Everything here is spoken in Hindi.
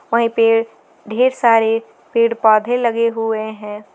वही पे ढेर सारे पेड़ पौधे लगे हुए हैं।